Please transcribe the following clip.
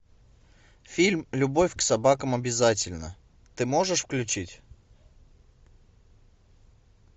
фильм любовь к собакам обязательна ты можешь включить